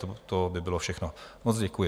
To by bylo všechno, moc děkuji.